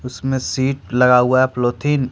इसमें शीट लगा हुआ है प्लोथीन--